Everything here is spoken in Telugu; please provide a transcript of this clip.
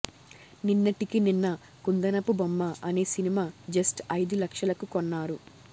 నిన్నటికి నిన్న కుందనపు బొమ్మ అనే సినిమా జస్ట్ అయిదు లక్షలకు కొన్నారు